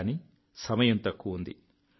కానీ సమయం తక్కువుంది